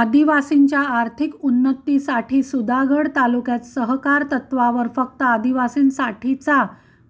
आदिवासींच्या आर्थिक उन्नतीसाठी सुधागड तालुक्यात सहकार तत्त्वावर फक्त आदिवासींसाठीचा